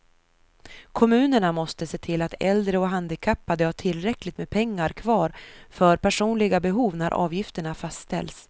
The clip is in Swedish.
Kommunerna måste se till att äldre och handikappade har tillräckligt med pengar kvar för personliga behov när avgifterna fastställs.